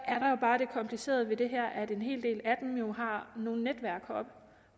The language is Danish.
er jo bare det komplicerede ved det her at en hel del af dem har nogle netværk heroppe